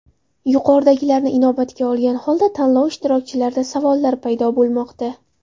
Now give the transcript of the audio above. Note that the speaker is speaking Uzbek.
Yuqoridagilarni inobatga olgan holda tanlov ishtirokchilarida savollar paydo bo‘lmoqda.